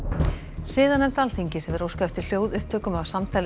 siðanefnd Alþingis hefur óskað eftir hljóðupptökum af samtali